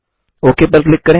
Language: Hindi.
ओक पर क्लिक करें